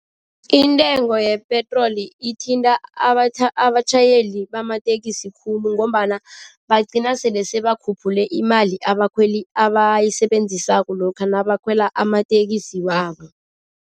Intengo yepetroli ithinta abatjhayeli bamatekisi khulu ngombana bagcina sele sebakhuphule imali abakhweli abayisebenzisako lokha nabakhwela amatekisi wabo.